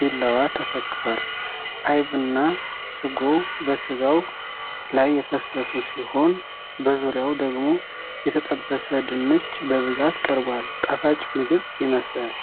ቢላዋ ተሰክቷል፤ አይብና ስጎ በስጋው ላይ የፈሰሱ ሲሆን፣ በዙሪያው ደግሞ የተጠበሰ ድንች በብዛት ቀርቧል። ጣፋጭ ምግብ ይመስላል።